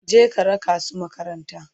Je ka raka su maƙabarta!